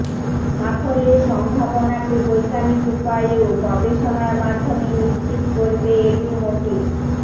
সাফল্যের সম্ভাবনাকে বৈজ্ঞানিক উপায়ে ও গবেষণার মাধ্যমে নিশ্চিত করবে এডুমোটিভ